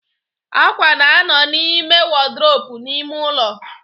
Ákwà na-anọ n'ime wọdrobu n'ime ụlọ